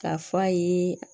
K'a f'a ye